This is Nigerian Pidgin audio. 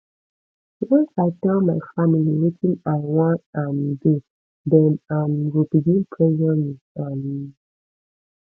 once i tell my family wetin i wan um do dem um go begin pressure me um